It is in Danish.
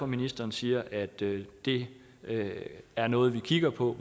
ministeren siger at det det er noget man kigger på